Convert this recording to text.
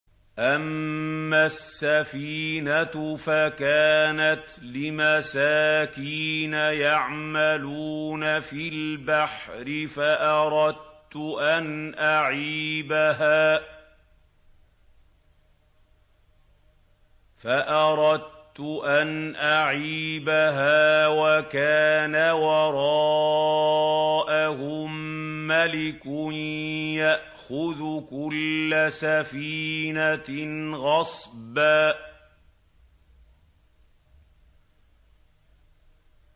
أَمَّا السَّفِينَةُ فَكَانَتْ لِمَسَاكِينَ يَعْمَلُونَ فِي الْبَحْرِ فَأَرَدتُّ أَنْ أَعِيبَهَا وَكَانَ وَرَاءَهُم مَّلِكٌ يَأْخُذُ كُلَّ سَفِينَةٍ غَصْبًا